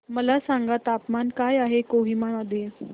मला सांगा तापमान काय आहे कोहिमा मध्ये